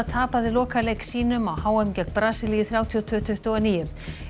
tapaði lokaleik sínum á h m gegn Brasilíu þrjátíu og tveir til tuttugu og níu